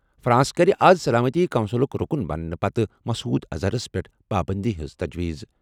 France کَرِ آز سلامتی کونسلُک رُکُن بننہٕ پتہٕ مسعود اظہرَس پٮ۪ٹھ پابٔنٛدی ہٕنٛز تجویٖز۔